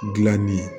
Gilanni